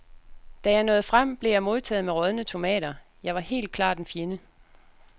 Da jeg nåede frem, blev jeg modtaget med rådne tomater, jeg var helt klart en fjende.